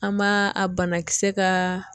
An b'a a banakisɛ ka